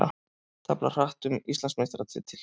Tefla hratt um Íslandsmeistaratitil